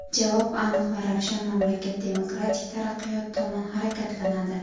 Javob aniq va ravshan mamlakat demokratik taraqqiyot tomon harakatlanadi.